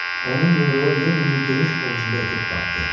Onun yumruğu Lenninin geniş ovucunda itib batdı.